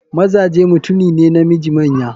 Mazaje mutune ne namiji manya.